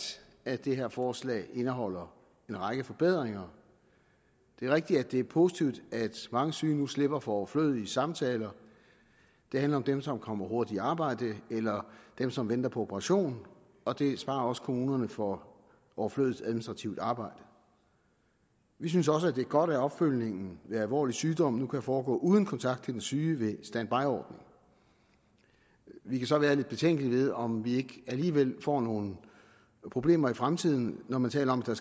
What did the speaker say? at det her forslag indeholder en række forbedringer det er rigtigt at det er positivt at mange syge nu slipper for overflødige samtaler det handler om dem som kommer hurtigt i arbejde eller dem som venter på operation og det sparer også kommunerne for overflødigt administrativt arbejde vi synes også det er godt at opfølgningen ved alvorlig sygdom nu kan foregå uden kontakt til den syge ved standbyordningen vi kan så være lidt betænkelige ved om vi ikke alligevel får nogle problemer i fremtiden når man taler om at der